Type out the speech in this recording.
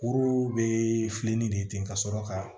Kuru bɛ filenni de ka sɔrɔ ka